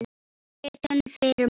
Ritun firma.